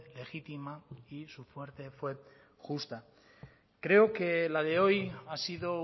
legítima y su muerte fue justa creo que la de hoy ha sido